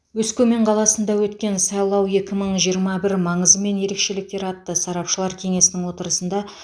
өскемен қаласында өткен сайлау екі мың жиырма бір маңызы мен ерекшеліктері атты сарапшылар кеңесінің отырысында